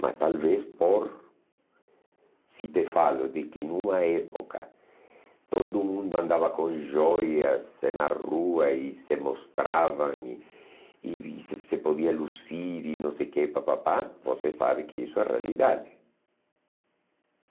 Mas talvez por, se te falo de que numa época todo mundo andava com joias em na rua e se mostrava e e se podia lucir e não sei o que pá pá pá, você sabe que isso é realidade.